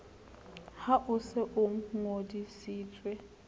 ha o se o ngodisitswe